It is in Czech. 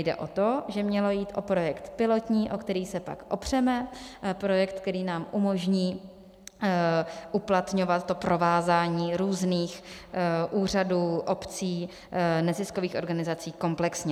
Jde o to, že mělo jít o projekt pilotní, o který se pak opřeme, projekt, který nám umožní uplatňovat to provázání různých úřadů, obcí, neziskových organizací komplexně.